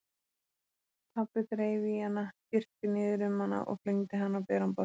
Pabbi þreif í hana, girti niður um hana og flengdi hana á beran bossann.